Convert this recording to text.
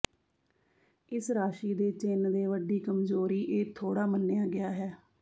ਇਸ ਰਾਸ਼ੀ ਦੇ ਚਿੰਨ੍ਹ ਦੇ ਵੱਡੀ ਕਮਜ਼ੋਰੀ ਇਹ ਥੋੜਾ ਮੰਨਿਆ ਗਿਆ ਹੈ